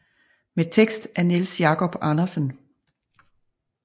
Med tekst af Niels Jacob Andersen